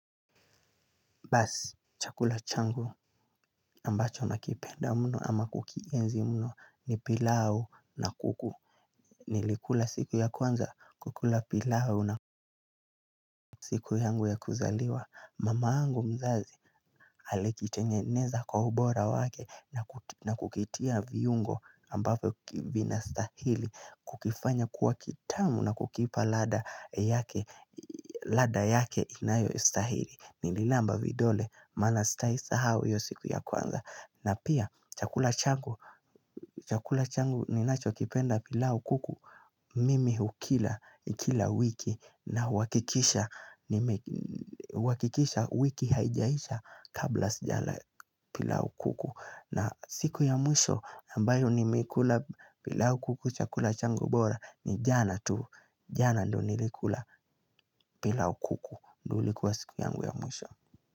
Basi, chakula changu ambacho nakipenda mno ama kukienzi mno ni pilau na kuku. Nilikula siku ya kwanza kukula pilau na siku yangu ya kuzaliwa. Mamangu mzazi alikitengeneza kwa ubora wake na kukitia viungo ambapo kivina stahili. Kukifanya kuwa kitamu na kukipa ladha yake ladha yake inayo stahili. Nililamba vidole maana sitaisahau hio siku ya kwanza. Na pia chakula changu chakula changu ninacho kipenda pilau kuku. Mimi hukila kila wiki. Nahuakikisha huakikisha wiki haijaisha kabla sijala pilau kuku. Na siku ya mwisho ambayo nimekula pilau kuku chakula changu bora ni jana tu jana ndo nilikula pilau kuku. Ndolikuwa siku yangu ya mwisho.